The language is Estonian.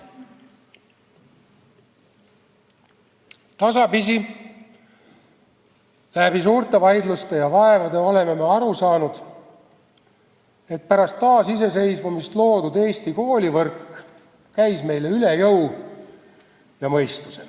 Tasapisi, läbi suurte vaidluste ja vaevade oleme aru saanud, et pärast taasiseseisvumist loodud Eesti koolivõrk käis meile üle jõu ja mõistuse.